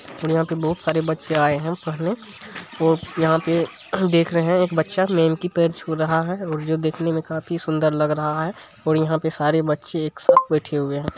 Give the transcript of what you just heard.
और यहां पे बहुत सारे बच्चे आए हैं पढ़ने और यहां पे देख रहे है एक बच्चा मेम के पैर छु रहा है और जो देखने मे काफी सुंदर लग रहा है और यहां पे सारे बच्चे एक साथ बैठे हुए है|